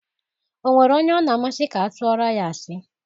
O nwere onye ọ na-amasị ka atụoro ya asị.